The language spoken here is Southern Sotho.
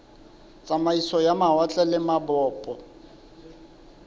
tsamaiso ya mawatle le mabopo